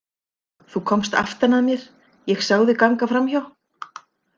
Þú komst aftan að mér, ég sá þig ganga framhjá.